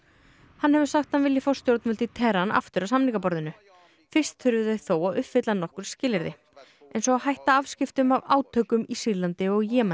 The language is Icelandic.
hann hefur sagt að hann vilji fá stjórnvöld í Teheran aftur að samningaborðinu fyrst þurfi þau þó að uppfylla nokkur skilyrði eins og að hætta afskiptum af átökum í Sýrlandi og Jemen